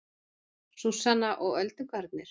Súsanna og öldungarnir